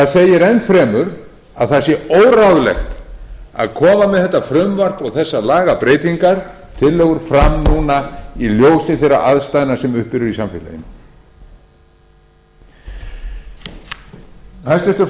segir enn fremur að það sé óráðlegt að koma með þetta frumvarp og þessar lagabreytingartillögur fram núna í ljósi þeirra aðstæðna sem uppi eru í samfélaginu hæstvirtur